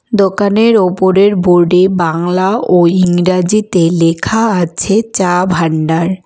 দোকানের ওপরের বোর্ড -এ বাংলা ও ইংরাজিতে লেখা আছে চা ভান্ডার।